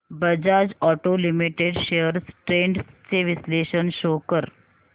Bajaj auto limited shares trends चे विश्लेषण show कर